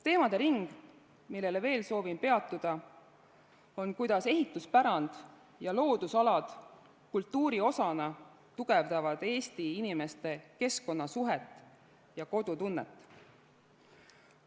Teemade ring, millel veel soovin peatuda, on see, kuidas ehituspärand ja loodusalad kultuuri osana tugevdavad Eesti inimeste keskkonnasuhet ja kodutunnet.